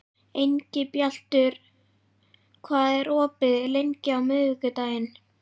Engilbjartur, hvað er opið lengi á miðvikudaginn?